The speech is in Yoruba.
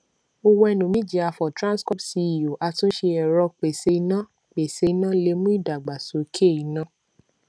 owen omojiafor transcorp ceo atunṣe ẹrọ pèsè iná pèsè iná lè mú ìdàgbàsókè iná